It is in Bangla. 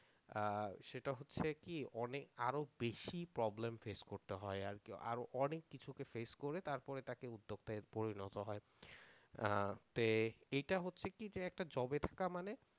সেটা হচ্ছে কি অনেক আরও বেশি problem face করতে হয় আর কি আর অনেক কিছু কে face করে তারপরে উদ্যোক্তায় পরিণত হয় এটা হচ্ছে কি যে একটা job এ থাকা মানে